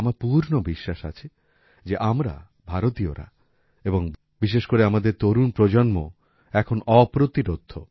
আমার পূর্ণ বিশ্বাস আছে যে আমরা ভারতীয়রা এবং বিশেষ করে আমাদের তরুণ প্রজন্ম এখন অপ্রতিরোধ্য